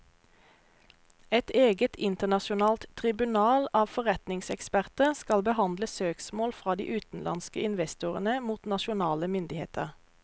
Et eget internasjonalt tribunal av forretningseksperter skal behandle søksmål fra de utenlandske investorene mot nasjonale myndigheter.